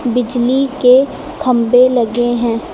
बिजली के खंभे लगे हैं।